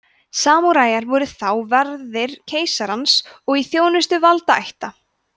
samúræjar voru þá verðir keisarans og í þjónustu valdaætta